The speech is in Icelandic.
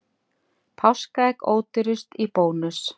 Páskaegg ódýrust í Bónus